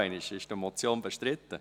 Ist die Motion bestritten?